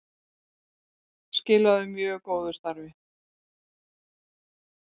Skiluðu mjög góðu starfi